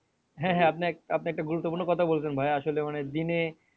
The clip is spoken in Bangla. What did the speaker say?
আপনি আপনি একটা গুরুত্বপূর্ণ কথা বলেছেন ভাইয়া আসলে মানে দিনে